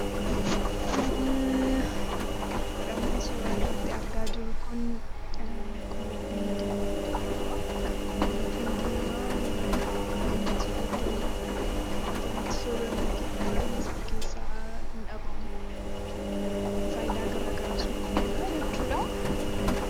Kanan suuraa irratti argaa jiru kun qullubbii diimaa jedhama. Qullubbiin diimaa nyaata nuti hojjennu, nyaata nuti soorannu baay'eesaa keessaa hin dhabamu. Faayidaa garaagaraas nuuf kenna jechuudha.